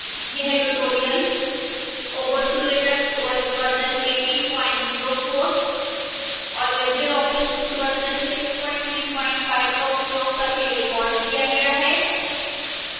यह tutorial ubuntu linux os 1804 और libreoffice suite version 635 का उपयोग करके recorded किया गया है